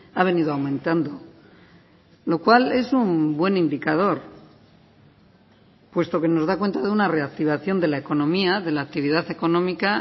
ha venido aumentando lo cual es un buen indicador puesto que nos da cuenta de una reactivación de la economía de la actividad económica